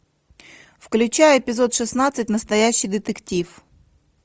включай эпизод шестнадцать настоящий детектив